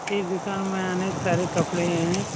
इ दुकान में अनेक सारे कपड़े हैं।